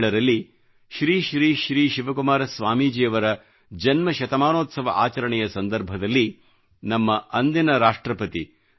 2007 ರಲ್ಲಿ ಶ್ರೀ ಶ್ರೀ ಶ್ರೀ ಶಿವಕುಮಾರ ಸ್ವಾಮೀಜಿಯವರ ಜನ್ಮಶತಮಾನೋತ್ಸವ ಆಚರಣೆಯ ಸಂದರ್ಭದಲ್ಲಿ ನಮ್ಮ ಅಂದಿನ ರಾಷ್ಟ್ರಪತಿ ಡಾ